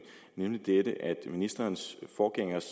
nemlig dette at ministerens forgængers